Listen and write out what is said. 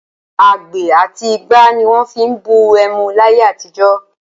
Agbè àti igbá ni wọ́n fi ń bu ẹmu láyé àtijọ́.